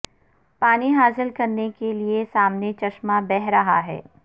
پانی حاصل کرنے کے لیے سامنے چشمہ بہہ رہا ہے